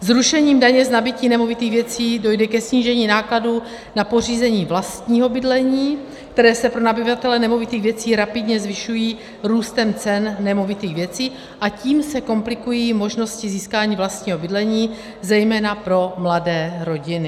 Zrušením daně z nabytí nemovitých věcí dojde ke snížení nákladů na pořízení vlastního bydlení, které se pro nabyvatele nemovitých věcí rapidně zvyšují růstem cen nemovitých věcí, a tím se komplikují možnosti získání vlastního bydlení zejména pro mladé rodiny.